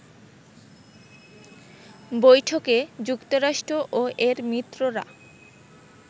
বৈঠকে যুক্তরাষ্ট্র ও এর মিত্ররা